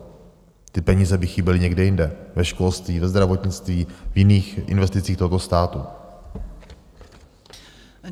Ty peníze by chyběly někde jinde, ve školství, ve zdravotnictví, v jiných investicích tohoto státu.